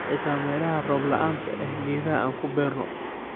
Xita melaha roob laanta eh geedhaha aan kuu burno.